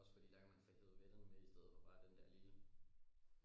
Også fordi der kan man få hevet vennerne med stedet for bare den der lille